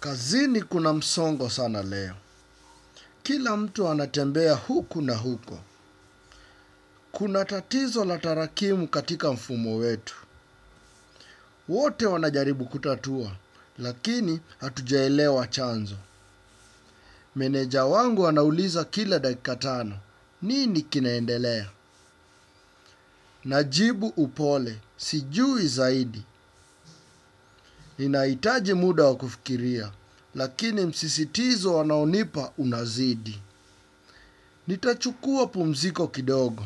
Kazini kuna msongo sana leo. Kila mtu anatembea huku na huko. Kuna tatizo la tarakimu katika mfumo wetu. Wote wanajaribu kutatua, lakini hatujaelewa chanzo. Meneja wangu wanauliza kila dakika tano. Nini kinaendelea? Najibu upole, sijui zaidi. Inaitaji muda wa kufikiria, lakini msisitizo wanaonipa unazidi. Nitachukua pumziko kidogo,